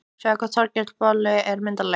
Sjáðu hvað Þorgeir boli er myndarlegur